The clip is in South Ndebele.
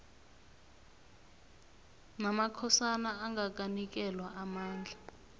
namakhosana angakanikelwa amandla